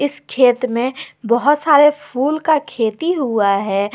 खेत में बहुत सारे फूल का खेती हुआ है।